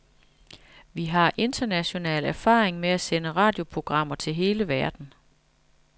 Vi har international erfaring med at sende radioprogrammer til hele verden.